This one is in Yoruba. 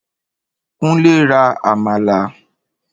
Kúnlé ra àmàlà.